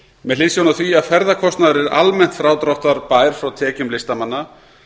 með hliðsjón af því að ferðakostnaður er almennt frádráttarbær frá tekjum listamanna